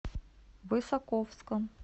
высоковском